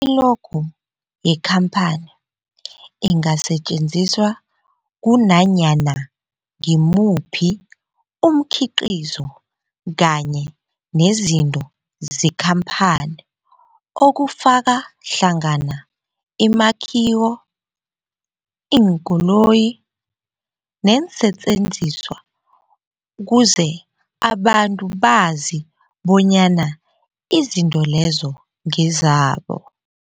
I-logo yekhamphani ingasetjenziswa kunanyana ngimuphi umkhiqizo kanye nezinto zekhamphani okufaka hlangana imakhiwo, iinkoloyi neensentjenziswa ukuze abantu bazi bonyana izinto lezo ngezabo.